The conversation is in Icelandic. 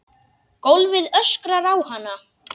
Gólfið öskrar á hana.